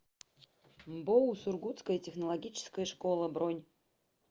мбоу сургутская технологическая школа бронь